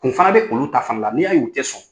Kun fana bɛ olu ta fana la n'i y'a y'u tɛ sɔn.